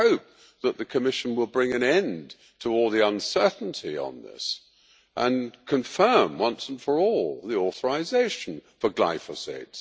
I hope that the Commission will bring an end to all the uncertainty on this, and confirm once and for all the authorisation for glyphosate.